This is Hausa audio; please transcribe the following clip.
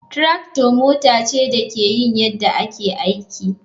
Tractor mota ce da ke yin yadda ake aiki.